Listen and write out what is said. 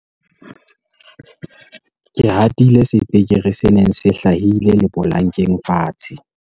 ke hatile sepekere se neng se hlahile lepolankeng fatshe